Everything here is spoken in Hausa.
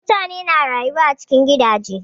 Mutane na rayuwa a cikin gidaje.